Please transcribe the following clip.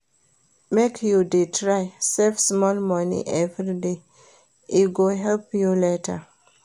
Make you dey try save small moni everyday, e go help you later.